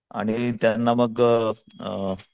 आणि त्यांना मग अ अ,